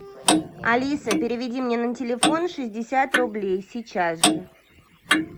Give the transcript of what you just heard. алиса переведи мне на телефон шестьдесят рублей сейчас же